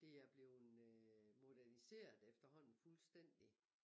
Det er blevet moderniseret efterhånden fuldstændig